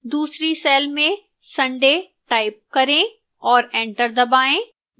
दूसरी cell में sunday type करें और enter दबाएं